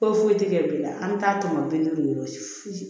Foyi foyi tɛ kɛ bi la an bɛ taa tɔmɔ bi duuru ye